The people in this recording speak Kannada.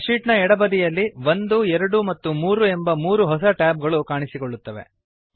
ಸ್ಪ್ರೆಡ್ ಶೀಟ್ ನ ಎಡ ಬದಿಯಲ್ಲಿ 1 2 ಮತ್ತು 3 ಎಂಬ 3 ಹೊಸ ಟ್ಯಾಬ ಗಳು ಕಾಣುತ್ತವೆ